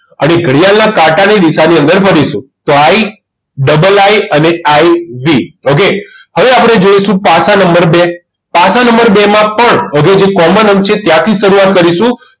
હવે ઘડિયાળના કાંટાની દિશાની અંદર ફરી શું તો III અને IVokay હવે આપણે જોઇશું પાછા નંબર બે પાસા નંબર બે માં પણ હવે જે common અંક છે ત્યાંથી શરૂઆત કરીશું